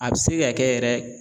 A bɛ se ka kɛ yɛrɛ